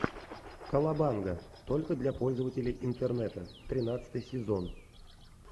колобанга только для пользователей интернета тринадцатый сезон